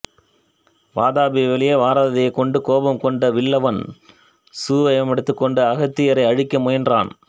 வாதாபி வெளியே வராததைக் கண்டு கோபம் கொண்ட வில்வலன் சுயவடிவமெடுத்து அகத்தியரை அழிக்க முயன்றான்